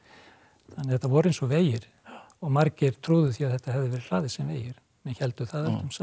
þannig að þetta voru eins og vegir og margir trúðu því að þetta hefði verið hlaðið sem vegir menn héldu það öldum saman